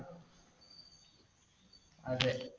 അതെ.